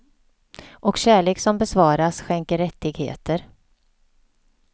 Och kärlek som besvaras skänker rättigheter.